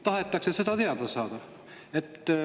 Tahetakse seda teada saada.